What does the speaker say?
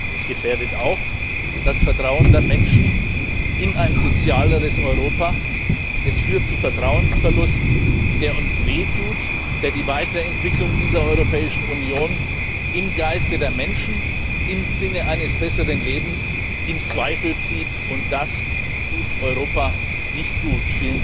Es gefährdet auch das Vertrauen der Menschen in ein sozialeres Europa, es führt zu Vertrauensverlust, der uns wehtut, der die Weiterentwicklung dieser Europäischen Union im Geiste der Menschen, im Sinne eines besseren Lebens in Zweifel zieht, und das tut Europa nicht gut.